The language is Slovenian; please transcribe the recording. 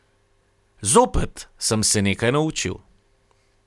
Zopet sem se nekaj naučil.